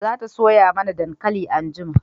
za ta soya mana dankali anjima